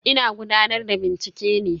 Ina gudanar da bincike ne.